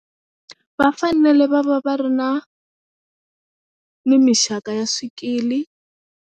Va fanele va va va ri na ni mixaka ya swikili.